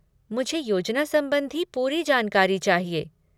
मुझे योजना संबंधी पूरी जानकारी चाहिए।